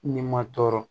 Ni ma tɔɔrɔ